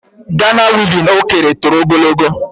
Gana wevin o kere toro ogologo.